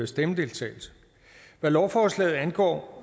stemmedeltagelse hvad lovforslaget angår